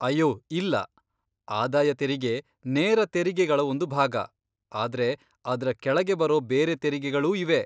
ಅಯ್ಯೋ ಇಲ್ಲ, ಆದಾಯ ತೆರಿಗೆ ನೇರ ತೆರಿಗೆಗಳ ಒಂದು ಭಾಗ, ಆದ್ರೆ ಅದ್ರ ಕೆಳಗೆ ಬರೋ ಬೇರೆ ತೆರಿಗೆಗಳೂ ಇವೆ.